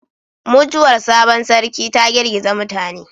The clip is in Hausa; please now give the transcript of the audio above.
Mutuwar sabon Sarki ta girgiza mutane